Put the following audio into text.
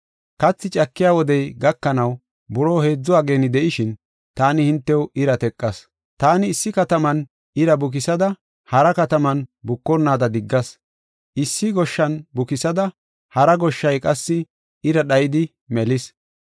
Kathi cakiya wodey gakanaw buroo heedzu ageeni de7ishin, taani hintew ira teqas. Taani issi kataman ira bukisada hara kataman bukonnaada diggas; issi goshshan bukis; hara goshshay qassi ira dhayidi melis.